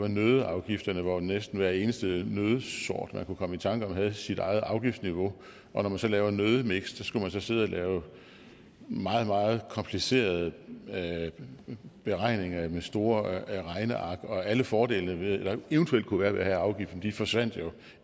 nøddeafgifterne hvor næsten hver eneste nøddesort man kunne komme i tanker om havde sit eget afgiftsniveau og når man så laver nøddemiks skulle man sidde og lave meget meget komplicerede beregninger med store regneark og alle fordele der eventuelt kunne være med at have afgiften forsvandt jo